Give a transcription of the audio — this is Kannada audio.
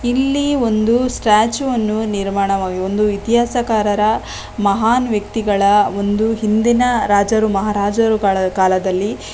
ಇಲ್ಲಿ ಒಂದು ಸ್ಟ್ಯಾಚು ಅನ್ನು ನಿರ್ಮಾಣ ಮಾ ಒಂದು ಇತಿಹಾಸ ಕಾರರ ಮಹಾನ್ ವ್ಯತಿಗಳ ಒಂದು ಹಿಂದಿನ ರಾಜರುಗಳ ಮಹಾರಾಜರುಗಳ ಕಾಲದಲ್ಲಿ--